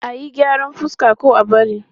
A yi gyaran fuska ko a bari?